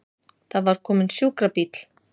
Það var kominn sjúkrabíll!